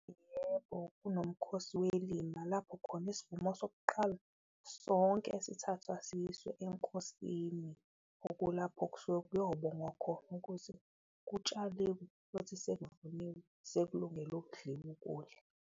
Yebo, kunomkhosi welima lapho khona isivumo sokuqala sonke sithathwa siyiswe enkosini okulapho kusuke kuyobongwa khona ukuthi kutshaliwe futhi sekuvuniwe, sekulungele ukudliwa ukudla.